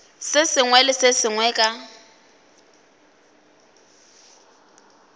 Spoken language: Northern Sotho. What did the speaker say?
sengwe le se sengwe ka